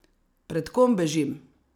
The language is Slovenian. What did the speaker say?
Pred kom bežim?